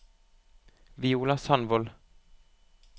Viola Sandvold